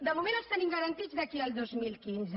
de moment els tenim garantits d’aquí al dos mil quinze